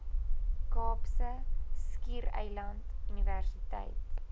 kaapse skiereiland universiteit